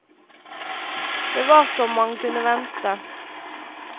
Det var som man kunne vente.